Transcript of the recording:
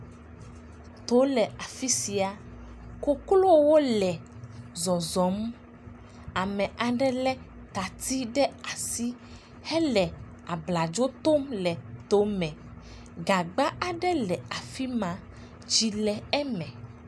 Towo le afi sia. Koklowo le zɔzɔm. ame aɖe lé tati ɖe asi hele abladzo tom le etome. Gagba aɖe le afi ma. Tsi le eme.